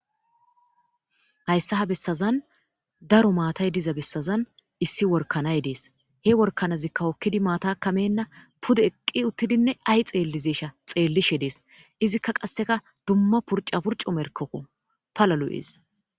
hayssa ha bessazan daro maatay diza bessazan issi workanay dees, he workanazikka hokkidi maataka menna puda eqqi uttidinne ay xeellizesha xeellishe dees izikka qasseka dumma purca purco merkokko pala lo'ees